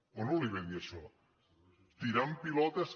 o no li va dir això tirant pilotes